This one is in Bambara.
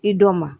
I d'o ma